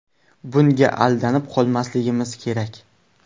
Bunga aldanib qolmasligimiz kerak.